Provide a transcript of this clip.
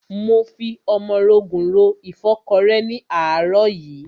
Mo fi ọmọrogùn ro ìfọ́kọrẹ́ ni ní àárọ̀ yìí.